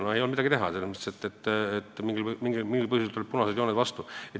No ei olnud midagi teha, selles mõttes, et mingil põhjusel tulevad punased jooned vastu.